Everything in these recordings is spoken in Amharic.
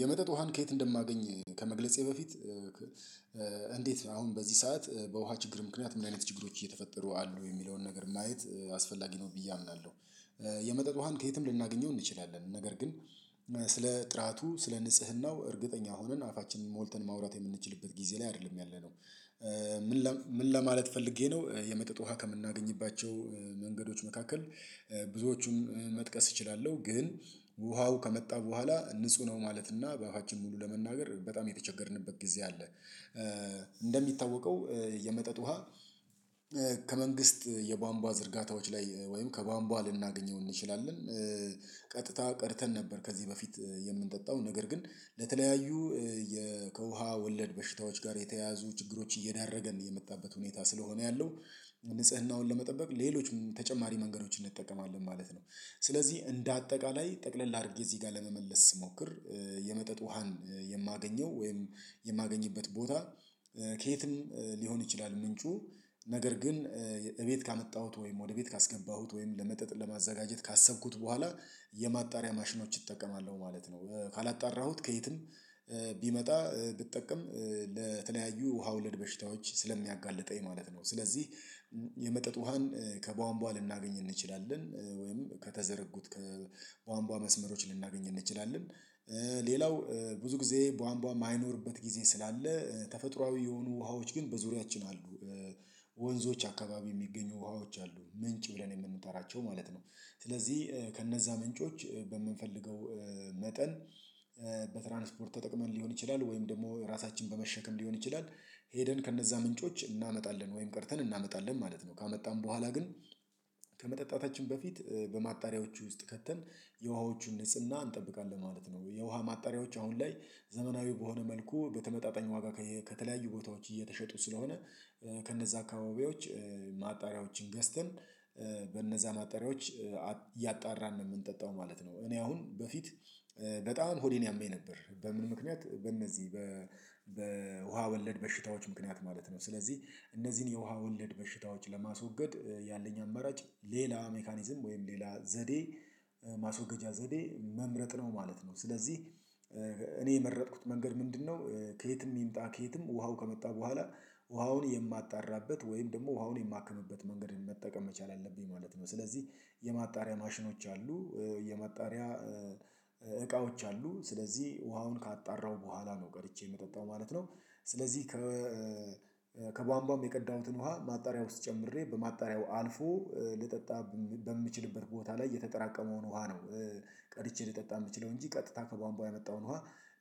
የመጠጥ ውሃን ከየት እንደማገኝ ከመግለጼ በፊት እንዴት አሁን በዚህ ሰዓት በውሃ ችግር ምክንያት ምን አይነት ችግሮች እየተፈጠሩ አሉ ሚለውን ነገር ማየት አስፈላጊ ነው ብዬ አምናለሁ። የመጠጥ ውሃን ከየትም ልናገኘው እንችላለን ነገር ግን ስለ ጥራቱ ስለ ንጽህናው እርግጠኛ ሆነን አፋችንን ሞልተን ማውራት ምንችልበት ጊዜ ላይ አይደለም ያለነው። ምን ለማለት ፈልጌ ነው የመጠጥ ውሃ ከምናገኝባቸው መንገዶች መካከል ብዙዎቹን መጥቀስ እችላለሁ። ግን ውሃው ከመጣ በኋላ ንጹህ ነው ማለት እና በአፋችን ሙሉ ለመናገር በጣም የተቸገርንበት ጊዜ አለ። እንደሚታወቀው የመጠጥ ውሃ ከመንግስት የቧንቧ ዝርጋታዎች ላይ ወይም ከ ቧንቧ ልናገኘው እንችላለን። ቀጥታ ቀርተን ነበር ከዚህ በፊት የምንጠጣው ነገር ግን ለተለያዩ ከውሃ ወለድ በሽታዎች ጋር የተያዙ ችግሮች እየዳረገ ነው የመጣበት ሁኔታ ስለሆነ ያለው ንጽህናውን ለመጠበቅ ሌሎችም ተጨማሪ መንገዶችን እንጠቀማለን ማለት ነው። ስለዚህ እንደ አጠቃላይ ጠቅለል አድርጌ እዚህ ጋር ለመመለስ ስሞክር። የመጠጥ ውሃን የማገኘው ወይም የማገኝበት ቦታ ከየትም ሊሆን ይችላል። ምንጩ ነገር ግን እቤት ካመጣሁት ወይም ወደ ቤት ካስገባሁት ወይም ለመጠጥ ለማዘጋጀት ካሰብኩት በኋላ የማጣሪያ ማሽኖች እጠቀማለሁ ማለት ነው። ካላጣራሁት ከየትም ቢመጣ ብጠቀም ለተለያዩ ውሃ ወለድ በሽታዎች ስለሚያጋልጠኝ ማለት ነው። ስለዚህ የመጠጥ ውሃን ከቧንቧ ልናገኝ እንችላለን ወይም ከተዘረጉት ከቧንቧ መስመሮች ልናገኝ እንችላለን። ሌላው ብዙ ጊዜ ቧንቧ ማይኖርበት ጊዜ ስላለ ተፈጥሮአዊ የሆኑ ውሃዎች ግን በዙሪያችን አሉ። ወንዞች አካባቢ የሚገኙ ውሃዎች አሉ ምንጭ ብለን የምንጠራቸው ማለት ነው። ስለዚህ ከነዛ ምንጮች በምንፈልገው መጠን በትራንስፖርት ተጠቅመን ሊሆን ይችላል ወይም ደግሞ ራሳችን በመሸከም ሊሆን ይችላል። ሄደን ከነዛ ምንጮች እናመጣለን ወይም ቀርተን እናመጣለን ማለት ነው ካመጣን በኋላ ግን ከመጠጣታችን በፊት በማጣሪያዎቹ ውስጥ ከተን የውሃዎቹን ንጽህና እንጠብቃለን ማለት ነው። የውሃ ማጣሪያዎች አሁን ላይ ዘመናዊው በሆነ መልኩ በተመጣጣኝ ዋጋ ከተለያዩ ቦታዎች እየተሸጡት ስለሆነ ከነዛ አካባቢዎች ማጣሪያዎችን ገዝተን በነዛ ማጣሪያዎች እያጣራን ነው የምንጠጣው ማለት ነው። እኔ አሁን በፊት በጣም ሆዴን ያመኝ ነበር በምን ምክንያት በእነዚህ በውሃ ወለድ በሽታዎች ምክንያት ማለት ነው። ስለዚህ እነዚህን የውሃ ወለድ በሽታዎች ለማስወገድ ያለኝ አማራጭ ሌላ ሜካኒዝም ወይም ሌላ ዘዴ ማስወገጃ ዘዴ መምረጥ ነው ማለት ነው። ስለዚህ እኔ የመረጥኩት መንገድ ምንድነው? ከየትም ይምጣ ከየትም ውሃው ከመጣ በኋላ ውሃውን የማጣራበት ወይም ደግሞ ውሃውን የማክምበት መንገድ መጠቀም መቻል አለብኝ ማለት ነው። ስለዚህ የማጣሪያ ማሽኖች አሉ። የመጣሪያ እቃዎች አሉ ስለዚህ ውሃውን ካጣራሁ በኋላ ነው ቀድቼ ምጠጣው ማለት ነው። ስለዚህ ከከቧንቧም የቀዳሁትን ውሃ ማጣሪያ ውስጥ ጨምሬ በማጣሪያው አልፎ ልጠጣ በምችልበት ቦታ ላይ የተጠራቀመውን ውሃ ነው። ቀድቼ ልጠጣ ምችለው እንጂ ቀጥታ ከቧንቧ የመጣውን ውሃ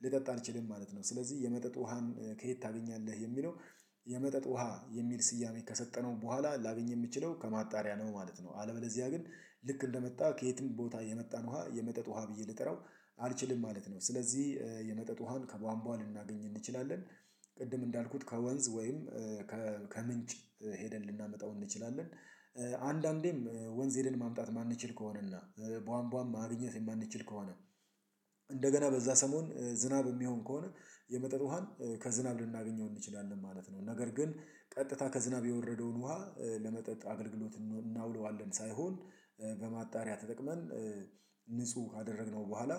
ልጠጣ አልችልም ማለት ነው። ስለዚህ የመጠጥ ውሃን ከየት ታገኛለህ የሚለው? የመጠጥ ውሃ የሚል ስያሜ ከሰጠነው በኋላ ላገኝ የምችለው ከማጣሪያ ነው ማለት ነው። አለበለዚያ ግን ልክ እንደመጣ ከየትም ቦታ የመጣን ውሃ የመጠጥ ውሃ ብዬ ልጠራው አልችልም ማለት ነው። ስለዚህ የመጠጥ ውሃን ከቧንቧ ልናገኝ እንችላለን። ቅድም እንዳልኩት ከወንዝ ወይም ከምንጭ ሄደን ልናመጣው እንችላለን። አንዳንዴም ወንዝ ሄደን ማምጣት ማንችል ከሆነና ቧንቧን ማግኘት ማንችል ከሆነ እንደገና በዛ ሰሞን ዝናብ ሚሆን ከሆነ የመጠጥ ውሃን ከዝናብ ልናገኘው እንችላለን ማለት ነው። ነገር ግን ቀጥታ ከዝናብ የወረደውን ውሃ ለመጠጥ አገልግሎት እናውለዋለን ሳይሆን በማጣሪያ ተጠቅመን ንጹህ ካደረግነው በኋላ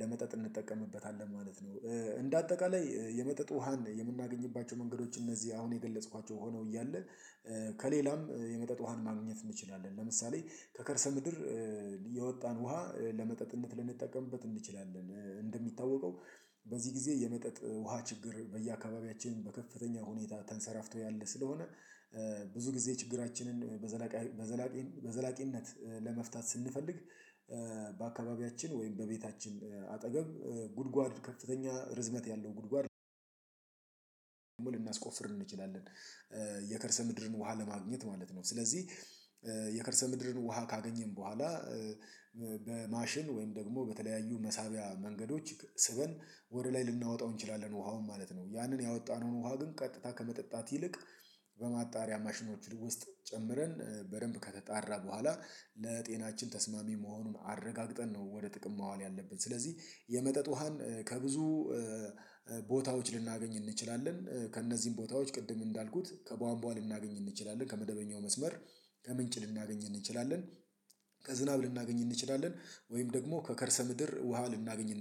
ለመጠጥ እንጠቀምበታለን ማለት ነው። እንደ አጠቃላይ የመጠጥ ውሃን የምናገኝባቸው መንገዶች እነዚህ አሁን የገለጽኳቸው ሆነው እያለ ከሌላም የመጠጥ ውሃን ማግኘት እንችላለን ለምሳሌ ከከርሰ ምድር የወጣን ውሃ ለመጠጥነት ልንጠቀምበት እንችላለን። እንደሚታወቀው በዚህ ጊዜ የመጠጥ ውሃ ችግር በየአካባቢያችን በከፍተኛ ሁኔታ ተንሰራፍቶ ያለ ስለሆነ። ብዙ ጊዜ ችግራችንን በዘላቂ በዘላቂነት ለመፍታት ስንፈልግ። ወይም በቤታችን አጠገብ ጉድጓድ ከፍተኛ ርዝመት ያለው ጉድጓድ ልናስቆፍር እንችላለን። የከርሰ ምድርን ውሃ ለማግኘት ማለት ነው። ስለዚህ የከርሰ ምድርን ውሃ ካገኘን በኋላ ማሽን ወይም ደግሞ በተለያዩ መሳቢያ መንገዶች ስበን ወደ ላይ ልናወጣው እንችላለን ውሃውን ማለት ነው። ያንን ያወጣነውን ውሃ ግን ቀጥታ ከመጠጣት ይልቅ በማጣሪያ ማሽኖች ውስጥ ጨምረን በደንብ ከተጣራ በኋላ ለጤናችን ተስማሚ መሆኑን አረጋግጠን ነው ወደ ጥቅም ማዋል ያለብን ስለዚህ የመጠጥ ውሃን ከብዙ ቦታዎች ልናገኝ እንችላለን። ከእነዚህም ቦታዎች ቅድም እንዳልኩት ከቧንቧን ልናገኝ እንችላለን ከመደበኛው መስመር ከምንጭ ልናገኝ እንችላለን። ከዝናብ ልናገኝ እንችላለን ወይም ደግሞ ከከርሰ ምድር ውሃ ልናገኝ እንችላለን